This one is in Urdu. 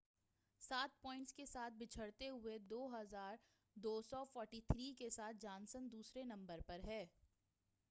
سات پوائنٹس کے ساتھ پچھڑتے ہوئے، 2،243 کے ساتھ جانسن دوسرے نمبر پر ہے۔